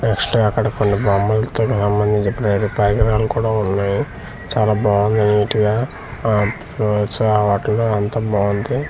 Next అక్కడ కొన్ని బొమ్మలుతొ సంబంధించినటువంటి పరికరాలు కూడా ఉన్నాయి చాలా బాగున్నాయి నీటుగా ఆ వాటిలో అంతా బాగుంది.